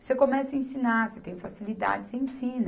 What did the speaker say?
Você começa a ensinar, você tem facilidade, você ensina.